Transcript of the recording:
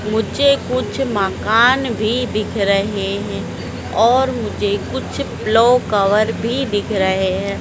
मुझे कुछ माकान भी दिख रहे हैं और मुझे कुछ प्लो कवर भी दिख रहे हैं।